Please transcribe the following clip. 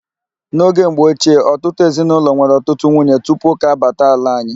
N'oge mgbochie, ọtụtụ ezinaụlọ nwere ọtụtụ nwunye tupu ụka abata ala anyị.